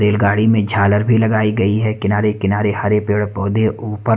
रेलगाड़ी में झालर भी लगाई गई है किनारे- किनारे हरे पेड़- पौधे ऊपर --